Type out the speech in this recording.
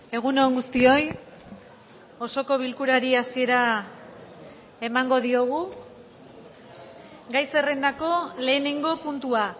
egun on guztioi osoko bilkurari hasiera emango diogu gai zerrendako lehenengo puntua